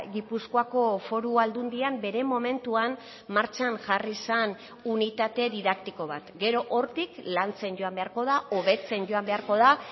gipuzkoako foru aldundian bere momentuan martxan jarri zen unitate didaktiko bat gero hortik lantzen joan beharko da hobetzen joan beharko da